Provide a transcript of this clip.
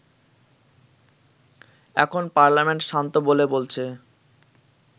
এখন পার্লামেন্ট শান্ত বলে বলছে